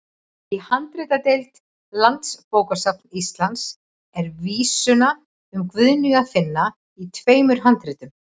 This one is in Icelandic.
Í handritadeild Landsbókasafns Íslands er vísuna um Guðnýju að finna í tveimur handritum.